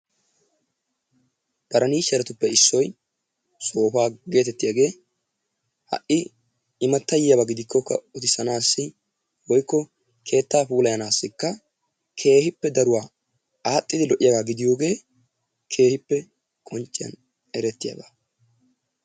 parinicheretuppe issoy soopaa gettettiyaagee ha'i immatay yiyaaba giidikokka uttisanaassi woykko keettaa puullayanaassikka keehippe daruwaa aaxxidi lo"iyaagaa gidiyoode keehippe qoncciyaan erettiyaaba.